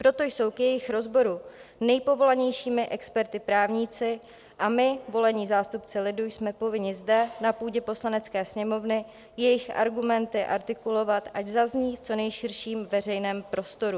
Proto jsou k jejich rozboru nejpovolanějšími experty právníci a my, volení zástupci lidu, jsme povinni zde, na půdě Poslanecké sněmovny, jejich argumenty artikulovat, ať zazní v co nejširším veřejném prostoru.